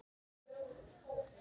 Þú veist að bruna